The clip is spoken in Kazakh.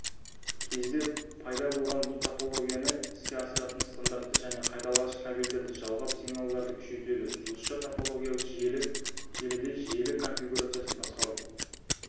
кезде пайда болған бұл топологияны іске асыратын стандарты және қайталағыш кабельдерді жалғап сигналдарды күшейтеді жұлдызша топологиялы желіде желі конфигурациясын басқару